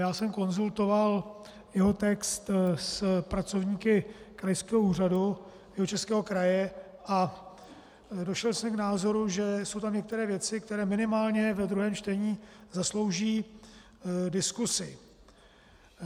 Já jsem konzultoval jeho text s pracovníky Krajského úřadu Jihočeského kraje a došel jsem k názoru, že jsou tam některé věci, které minimálně ve druhém čtení zaslouží diskuzi.